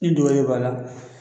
N'i dɔ wɛrɛ b'a la